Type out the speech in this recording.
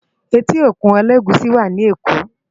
Éti ókún Elegushi wá ni Ékó